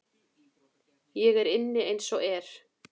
Ég er inni eins og er.